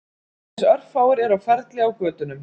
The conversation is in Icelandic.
Aðeins örfáir eru á ferli á götunum